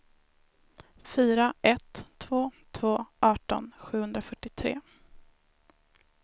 fyra ett två två arton sjuhundrafyrtiotre